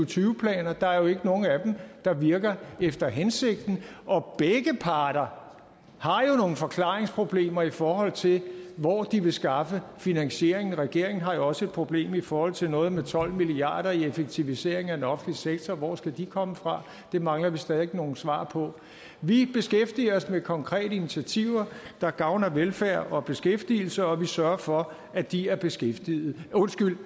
tyve planer der er jo ikke nogen af dem der virker efter hensigten og begge parter har jo nogle forklaringsproblemer i forhold til hvor de vil skaffe finansieringen regeringen har jo også et problem i forhold til noget med tolv milliard kroner i effektiviseringer af den offentlige sektor hvor skal de komme fra det mangler vi stadig væk nogle svar på vi beskæftiger os med konkrete initiativer der gavner velfærd og beskæftigelse og vi sørger for at de er beskæftigede undskyld